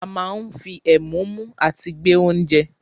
A máa ń fi ẹ̀mú mú àti gbé oúnje.